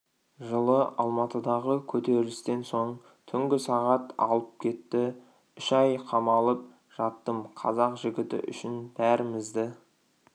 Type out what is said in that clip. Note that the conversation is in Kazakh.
жылы алматыдағы көтерілістен соң түнгі сағат алып кетті үш ай қамалып жаттым қазақ жігіті үшін бәрімізді